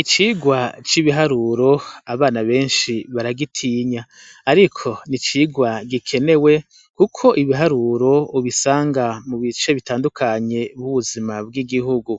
Icigwa c'ibiharuro, abana benshi baragitinya. Ariko ni icigwa gikenewe, kuko ibiharuro ubisanga mu bice bitandukanye bw'ubuzima bw'igihugu.